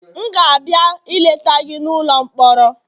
M ga-abịa ileta gị n'ụlọ mkpọrọ